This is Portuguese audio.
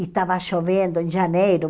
E estava chovendo em janeiro.